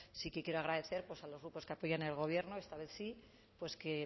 sí que quiero agradecer pues a los grupos que apoyan el gobierno esta vez sí pues